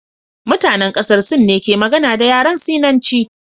Mutanen kasar Sin ne ke magana da yaren Sinanci